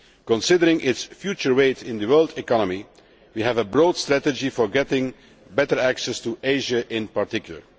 Considering its future weight in the world economy, we have a broad strategy for getting better access to Asia in particular.